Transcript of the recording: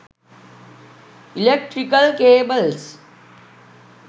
electrical cables